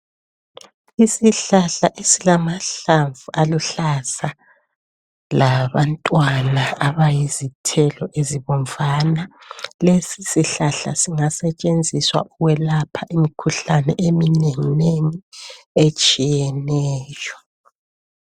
Isihlahla esilamahlamvu aluhlaza labantwana abayizithelo ezibomvana. Lesi sihlahla singasetshenziswa ukuyelapha imikhuhlane eminenginengi etshiyeneyo.